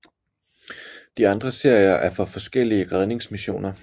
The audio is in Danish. De andre serier er for forskellige redningsmissioner